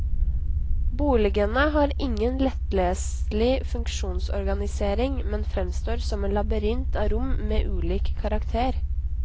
Boligene har ingen lettleselig funksjonsorganisering, men fremstår som en labyrint av rom med ulik karakter.